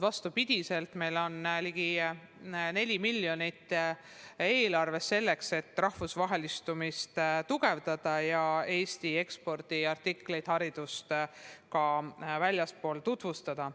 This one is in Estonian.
Vastupidi, meil on eelarves ligikaudu 4 miljonit eurot, et rahvusvahelistumist tugevdada ja Eesti ekspordiartiklit, haridust, ka väljaspool tutvustada.